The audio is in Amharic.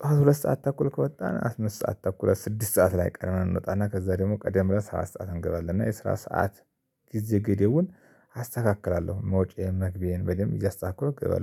ጠዋት ሁለት ሰዓት ተኩል ከወጣን አምስት ሰዓት ተኩል ስድስት ሰዓት ላይ ቀድመን እንወጣና ከዛ ደግሞ ቀደም ብለን ሰባት ሰዓት እንገባለን እና የስራ ሰዓት ጊዜ ገደቡን አስተካክላለሁ መውጫዬን መግቢዬን በደንብ እያስተካክለው እገባለሁ